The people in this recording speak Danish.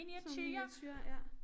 Sådan nogle miniature ja